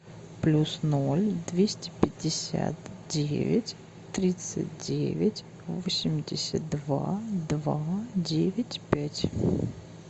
плюс ноль двести пятьдесят девять тридцать девять восемьдесят два два девять пять